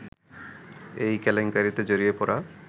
এই কেলেঙ্কারিতে জড়িয়ে পড়া